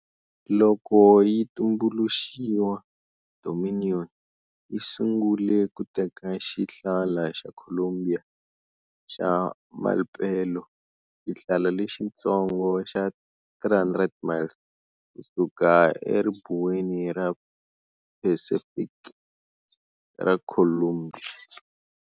Loko yi tumbuluxiwa,"Dominion" yisungule ku teka xihlala xa Colombia xa Malpelo, xihlala lexintsongo xa 300 miles kusuka eribuweni ra Pacific ra Colombia.